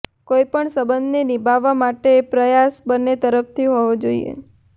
કોઈપણ સંબંધને નિભાવવા માટે પ્રયાસ બંને તરફથી હોવો જોઈએ